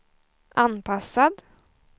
anpassad